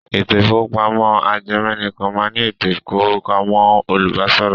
Ètò ìkówópamọ́ ajẹmẹ̀nìkan náà ní ètò ìkówópamọ́ olùbáṣòwò.